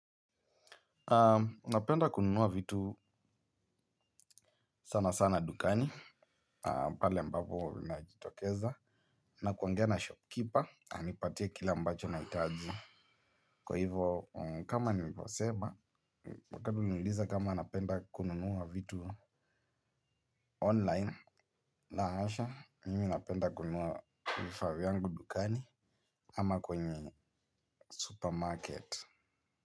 Napenda kununua vitu sana sana dukani, pale mbapo ninajitokeza na kuongea na 'shopkeeper', ananipatia kile mbacho nahitaji. Kwa hivo, kama niliposema, wakati uliniuliza kama napenda kununuwa vitu 'online'. La hasha, mimi napenda kununua vifaa vyangu dukani ama kwenye 'supermarket'.